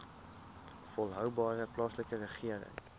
volhoubare plaaslike regering